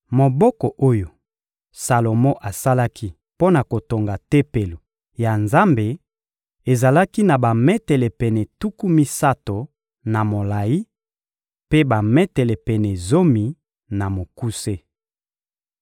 Moboko oyo Salomo asalaki mpo na kotonga Tempelo ya Nzambe ezalaki na bametele pene tuku misato na molayi, mpe bametele pene zomi, na mokuse.